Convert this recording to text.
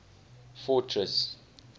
fortress